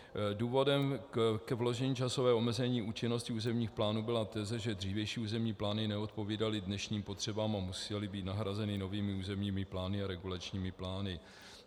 Důvodem k vložení časového omezení účinnosti územních plánů byla teze, že dřívější územní plány neodpovídaly dnešním potřebám a musely být nahrazeny novými územními plány a regulačními plány.